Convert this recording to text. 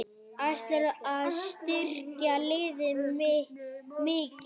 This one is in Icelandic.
Ætlarðu að styrkja liðið mikið?